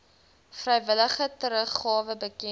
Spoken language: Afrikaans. vrywillige teruggawe bekend